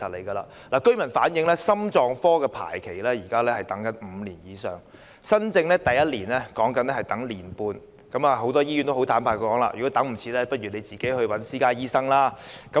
居民反映現時心臟科的排期為5年以上，新症的第一次排期是1年半，很多醫院坦白表示，如果急不及待便要自行看私家醫生。